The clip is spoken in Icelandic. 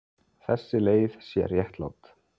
Þessi leið sé réttlát.